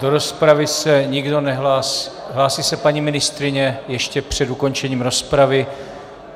Do rozpravy se nikdo nehlásí - hlásí se paní ministryně ještě před ukončením rozpravy.